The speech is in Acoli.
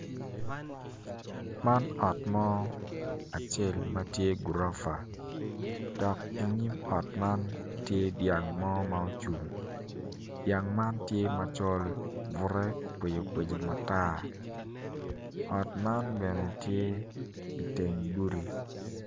Man ot mo ma tye gurofa piny kun puc man kala kome tye macol nicuc kun opero ite tye ka winyo jami. Puc man bene ot man bene tye i teng gudi.